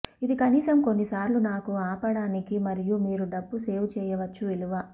ఇది కనీసం కొన్ని సార్లు నాకు ఆపడానికి మరియు మీరు డబ్బు సేవ్ చేయవచ్చు విలువ